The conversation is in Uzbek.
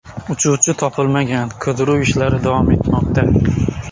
Uchuvchi topilmagan, qidiruv ishlari davom etmoqda.